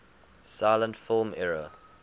silent film era